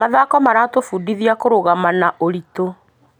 Mathako maratũbundithia kũrũgama na ũritũ.